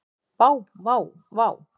Vá vá vá.